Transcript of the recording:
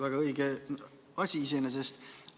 Väga õige asi iseenesest!